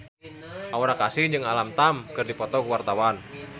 Aura Kasih jeung Alam Tam keur dipoto ku wartawan